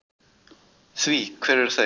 Því hver eru þau?